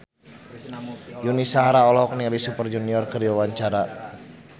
Yuni Shara olohok ningali Super Junior keur diwawancara